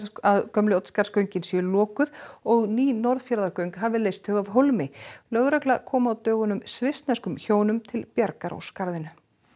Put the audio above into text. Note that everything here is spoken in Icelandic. að gömlu Oddsskarðsgöngin séu lokuð og ný Norðfjarðargöng hafi leyst þau af hólmi lögregla kom á dögunum svissneskum hjónum til bjargar á skarðinu